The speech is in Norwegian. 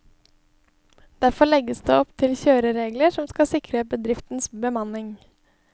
Derfor legges det opp til kjøreregler som skal sikre bedriftenes bemanning.